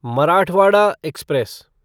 Marathwada express